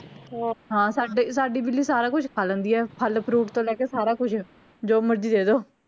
ਹਾਂ ਸਾਡੀ ਬਿੱਲੀ ਸਾਰਾ ਕੁੱਛ ਖਾ ਲੈਂਦੀ ਆ ਫੱਲ fruit ਤੋਂ ਲੈ ਕੇ ਸਾਰਾ ਕੁਛ ਜੋ ਮਰਜੀ ਦੇਦੋ